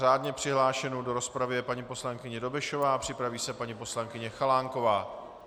Řádně přihlášenou do rozpravy je paní poslankyně Dobešová, připraví se paní poslankyně Chalánková.